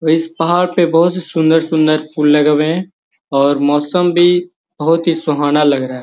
इस पहाड़ पे बहुत से सुंदर सुंदर फूल लगे हुए हैं और मौसम भी बहुत सुहाना लग रहा है |